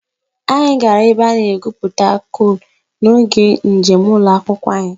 Anyị gara ebe a na-egwupụta coal n'oge njem ụlọ akwụkwọ anyị